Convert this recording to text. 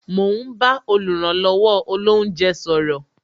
Mo ń bá oluranlowo olounje sọ̀rọ̀